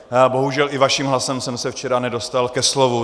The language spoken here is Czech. Bohužel i vaším hlasem jsem se včera nedostal ke slovu.